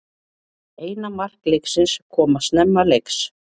Eina mark leiksins koma snemma leiks